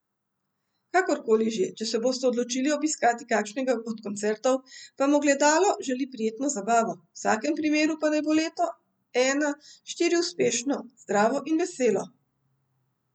Kakorkoli že, če se boste odločili obiskati kakšnega od koncertov, vam Ogledalo želi prijetno zabavo, v vsakem primeru pa naj bo leto ena štiri uspešno, zdravo in veselo!